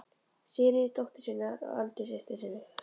Sigríði dóttur sinni og Öldu systur sinni.